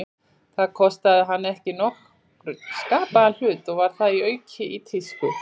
Það kostaði hana ekki nokkurn skapaðan hlut, og var þar að auki í tísku.